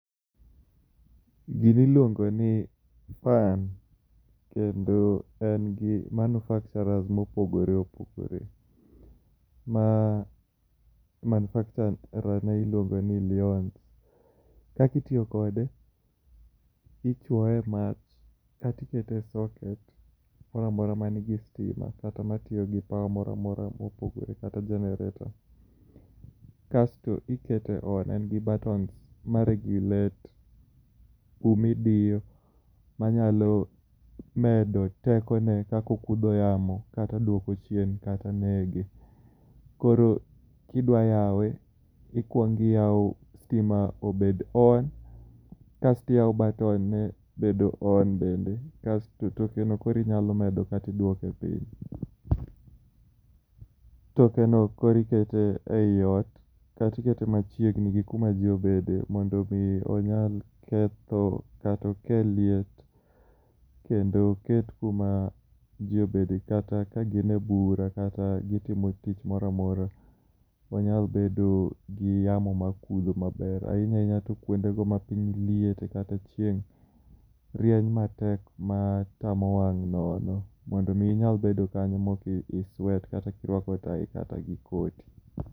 Gini iluongo ni, fan kendo en gi manufacturers mopogore opogore. Ma, manufacturer ne iluongo ni LYONS. Kaki itiyo kode, ichuoe e mach katikete e socket mora amora ma nigi stima kata matiyo gi power mora amora mopogore kata generator. Kasto ikete on en gi buttons ma regulate kumidiyo manyalo medo tekone kakokudho yamo kata duoko chien kata nege. Koro kidwa yawe, ikuong iyao stima obed on, kasto iyaw [c]button ne bedo on bende, kasto toke no koro inyalo medo kati iduoke piny tokeno koro ikete ei ot, kati ikete machiegni gi kuma jii obede mondo mi onyal ketho kata okel liet, kendo oket kuma jii obede kata ka gin e bura kata gitimo tich mora amora. Wanyal bedo gi yamo makudho maber, ahinya ahinya to kwonde ma piny liete kata chieng' rieny matek ma tamo wang' nono mondo mi inyal bedo kanyo moki i i sweat kirwako tai kata gi koti